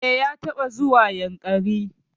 E, ya taɓa zuwa Yankari.